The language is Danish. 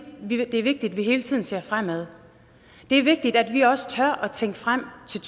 det er vigtigt at vi hele tiden ser fremad det er vigtigt at vi også tør tænke frem til